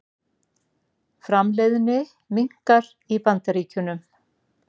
Framleiðni minnkar í Bandaríkjunum